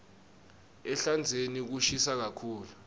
ehlandzeni kushisa kakhulu